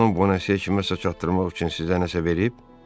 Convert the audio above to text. Xanım Bonase kiməsə çatdırmaq üçün sizə nəsə verib?